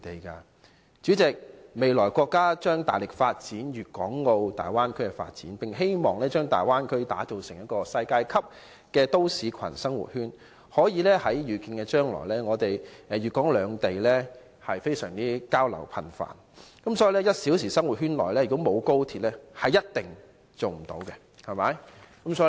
代理主席，國家未來將大力發展粵港澳大灣區，並希望把大灣區打造成世界級都市群或生活圈，粵港兩地的交流在可見的將來將會十分頻繁，因此在 "1 小時生活圈"內如果沒有高鐵，是一定無法成功的。